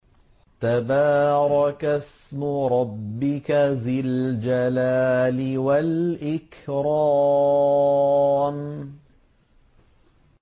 تَبَارَكَ اسْمُ رَبِّكَ ذِي الْجَلَالِ وَالْإِكْرَامِ